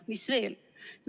Mis veel?